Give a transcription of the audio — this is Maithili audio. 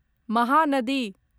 महानदी